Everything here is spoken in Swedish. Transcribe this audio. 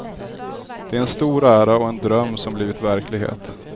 Det är en stor ära och en dröm som blivit verklighet.